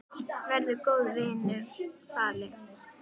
Verður góðum vinum falinn.